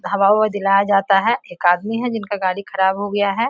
हवा-उवा दिलाया जाता है एक आदमी है जिनका गाड़ी खराब हो गया है।